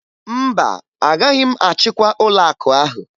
Mba, agaghị m achịkwa ụlọakụ ahụ